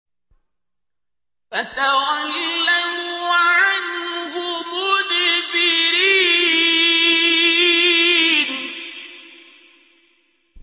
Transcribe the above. فَتَوَلَّوْا عَنْهُ مُدْبِرِينَ